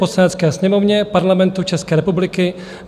Poslanecké sněmovně Parlamentu České republiky